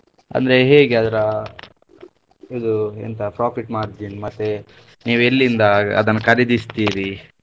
ಅಂದ್ರೆ ಹೇಗೆ ಅದರ ಇದು ಎಂತ profit margin ಮತ್ತೆ ನೀವು ಎಲ್ಲಿಂದ ಅದನ್ನು ಖರೀದಿಸ್ತೀರಿ?